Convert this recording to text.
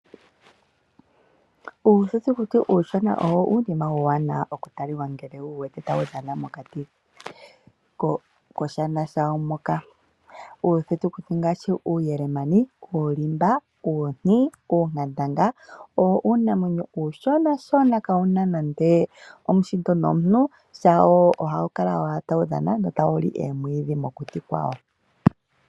Uuthutukuti uushona owo uunima uuwanawa okutaliwa ngele wu wuwete wuli mokati koshana shawo moka. Uuthutukuti ngaashi uuyelemani, uulimba, uunti, uunkandanga, owo uunamwenyo uushonashona kawu na nande omuhindo nomuntu. Shawo ohawu kala owala tawu dhana no tawu li oomwiidhi mokuti kwawo.